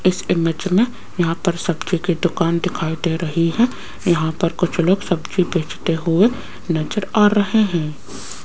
इस इमेज में यहां पर सब्जी की दुकान दिखाई दे रही है यहां पर कुछ लोग सब्जी बेचते हुए नजर आ रहे हैं।